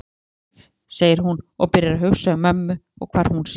Fegin er ég, segir hún og byrjar að hugsa um mömmu og hvar hún sé.